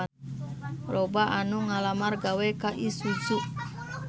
Loba anu ngalamar gawe ka Isuzu